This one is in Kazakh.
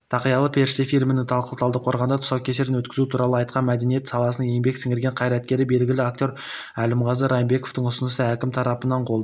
тақиялы періште фильмінің талдықорғанда тұсаукесерін өткізу туралы айтқан мәдениет саласының еңбек сіңірген қайраткері белгілі актер әлімғазы райымбековтің ұсынысы әкім тарапынан қолдау